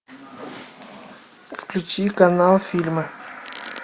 включи канал фильмы